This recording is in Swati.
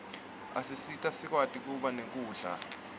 asisita sikwati kuba nekudla